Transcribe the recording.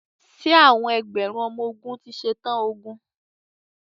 Ṣé àwọn ẹgbẹ̀rún ọmọ ogun ti ṣe tán ogun?